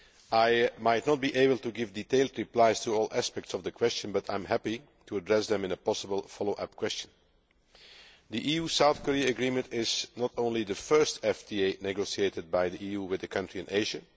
I might not be able to give detailed replies to all aspects of the question, but I am happy to address them in a possible follow up question. The EU South Korea agreement is not only the first FTA negotiated by the EU with a country in Asia